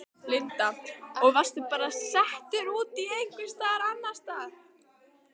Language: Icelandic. Linda: Og varstu bara settur út einhvers staðar annars staðar?